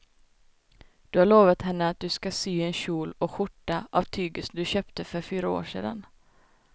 Du har lovat henne att du ska sy en kjol och skjorta av tyget du köpte för fyra år sedan.